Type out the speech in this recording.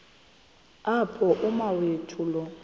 apho umawethu lo